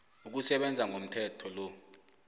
ukusebenza komthetho lo